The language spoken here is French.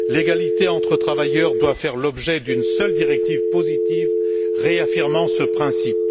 L'égalité entre travailleurs doit faire l'objet d'une seule directive positive réaffirmant ce principe.